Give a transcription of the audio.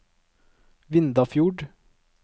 Vindafjord